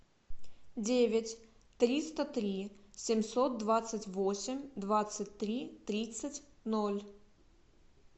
девять триста три семьсот двадцать восемь двадцать три тридцать ноль